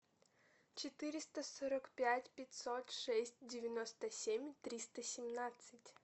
четыреста сорок пять пятьсот шесть девяносто семь триста семнадцать